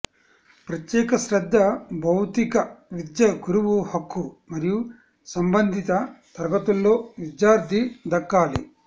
ప్రత్యేక శ్రద్ధ భౌతిక విద్య గురువు హక్కు మరియు సంబంధిత తరగతుల్లో విద్యార్థి దక్కాలి